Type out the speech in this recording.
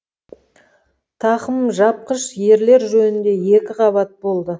тақым жапқыш ерлер жөнінде екі қабат болады